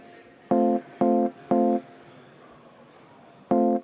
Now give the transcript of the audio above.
Istung on lõppenud.